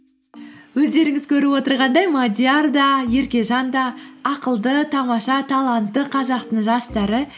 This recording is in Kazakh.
өздеріңіз көріп отырғандай мадиар да еркежан да ақылды тамаша талантты қазақтың жастары